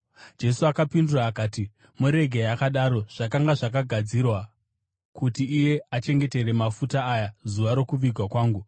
Jesu akapindura akati, “Muregei akadaro. Zvakanga zvakagadzirirwa kuti iye achengetere mafuta aya zuva rokuvigwa kwangu.